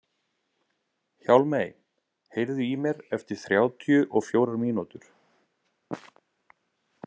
Hjálmey, heyrðu í mér eftir þrjátíu og fjórar mínútur.